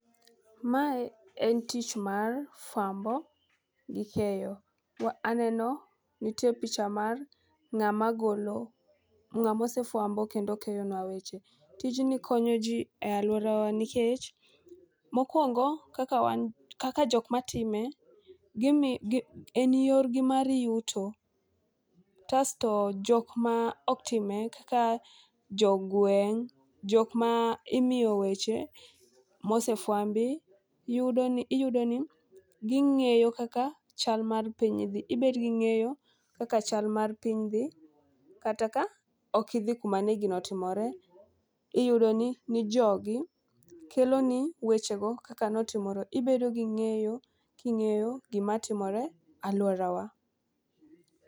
Mae en tich mar fwambo gi keyo. Aneno nitie picha mar ng'ama golo ng'amo sefwambo kendo keyo nwa weche . Tijni konyo jii e aluorawa nikech mokwongo kaka wan kaka jok matime gimi en yorgi mar yuto . Kasto jok ma ok time kaka jogweng' , jok ma imiyo weche mosefwambi yudo ni iyudo ni ging'eyo kaka chal mar piny dhi . Ibed gi ng'eyo kaka chal mar piny dhi kata ka ok idhi kuma ne gino otimore . Iyudo ni jogi kelo ni wechego kaka notimore ibedo gi ng'eyo king'eyo gima timore e aluorawa.